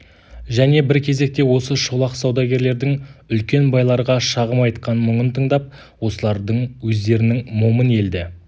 және бір кезекте осы шолақ саудагерлердің үлкен байларға шағым айтқан мұңын тыңдап осылардың өздерінің момын елді